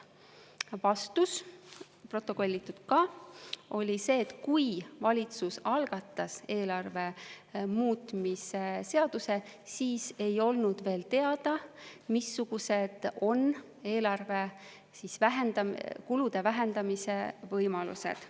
Vastus on protokollitud ka ja see oli niisugune, et kui valitsus algatas eelarve muutmise seaduse, siis ei olnud veel teada, missugused on eelarve kulude vähendamise võimalused.